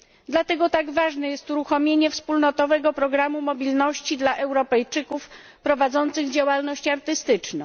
Dlatego tak ważne jest uruchomienie wspólnotowego programu mobilności dla Europejczyków prowadzących działalność artystyczną.